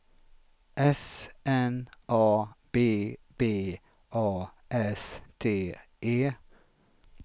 S N A B B A S T E